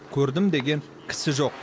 көрдім деген кісі жоқ